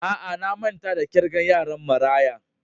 Aa, na manta da kirgan yaran marayan.